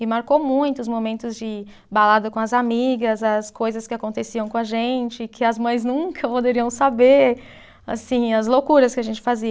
E marcou muito os momentos de balada com as amigas, as coisas que aconteciam com a gente, que as mães nunca poderiam saber, assim, as loucuras que a gente fazia.